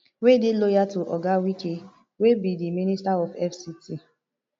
wey dey loyal to oga wike wey be di minister of fct